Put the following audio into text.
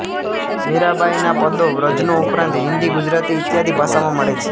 મીરાંબાઈ ના પદો વ્રજ નો ઉપરાંત હિંદી ગુજરાતી ઇત્યાદિ ભાષામાં મળે છે